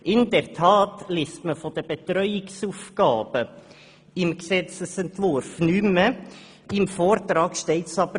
In der Tat ist im Gesetzesentwurf nichts mehr über die Betreuungsaufgaben zu lesen, während diese doch noch im Vortrag stehen.